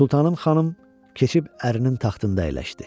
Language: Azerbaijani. Sultanım xanım keçib ərinin taxtında əyləşdi.